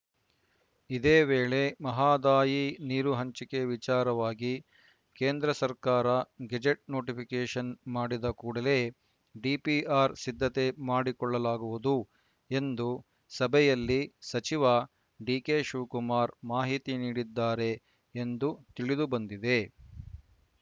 ಇದೇ ವೇಳೆ ಮಹದಾಯಿ ನೀರು ಹಂಚಿಕೆ ವಿಚಾರವಾಗಿ ಕೇಂದ್ರ ಸರ್ಕಾರ ಗೆಜೆಟ್‌ ನೋಟಿಫಿಕೇಷನ್‌ ಮಾಡಿದ ಕೂಡಲೇ ಡಿಪಿಆರ್‌ ಸಿದ್ಧತೆ ಮಾಡಿಕೊಳ್ಳಲಾಗುವುದು ಎಂದು ಸಭೆಯಲ್ಲಿ ಸಚಿವ ಡಿಕೆ ಶಿವಕುಮಾರ್‌ ಮಾಹಿತಿ ನೀಡಿದ್ದಾರೆ ಎಂದು ತಿಳಿದುಬಂದಿದೆ